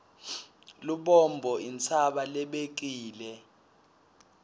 lubombo intsaba lebekile